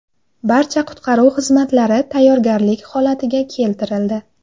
Barcha qutqaruv xizmatlari tayyorgarlik holatiga keltirildi.